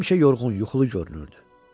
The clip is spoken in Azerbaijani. Həmişə yorğun yuxulu görünürdü.